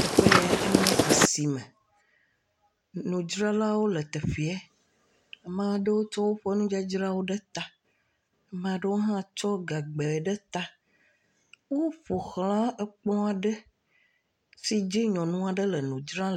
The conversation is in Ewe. Teƒe yɛ enye asime. Nudzralawo le teƒeɛ. Maa ɖewo tsɔ woƒe nudzadzrawo ɖe ta. Ama ɖewo hã tsɔ gagbɛ ɖe ta. Woƒo ʋlã ekplɔ̃ aɖe si dzi nyɔnu aɖe le nu dzram.